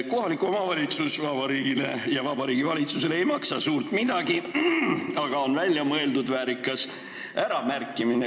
Kohalik omavalitsus ei maksa Vabariigi Valitsuse silmis suurt midagi, aga on välja mõeldud väärikas äramärkimine.